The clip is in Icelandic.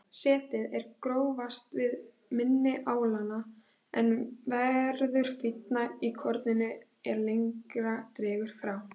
Setið er grófast við mynni álanna en verður fínna í korninu er lengra dregur frá.